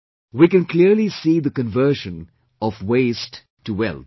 We can clearly see the conversion of waste to wealth